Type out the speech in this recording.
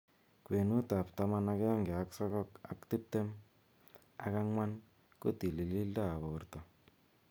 Kwenuut ap taman agenge ak sogok ak tiptem ak angwan �kotilildo ap borto